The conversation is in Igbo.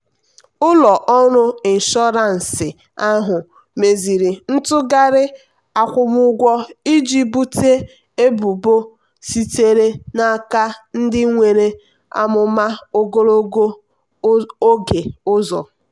ụlọ ọrụ inshọransị ahụ meziri ntụgharị akwụmụgwọ iji bute ebubo sitere n'aka ndị nwere amụma ogologo oge ụzọ.